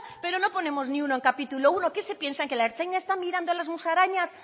pero no ponemos ni uno en capítulo primero qué se piensan que la ertzaintza está mirando las musarañas